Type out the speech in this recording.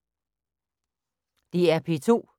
DR P2